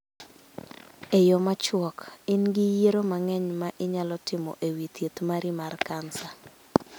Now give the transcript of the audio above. E yo machuok: In gi yiero mang�eny ma inyalo timo e wi thieth mari mar kansa.